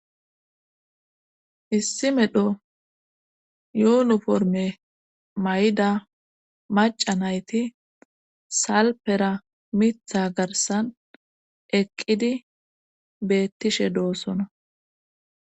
issi medho yoonuforme mayda maca nayti salpera mitha garsan eqqidi beettishe doossona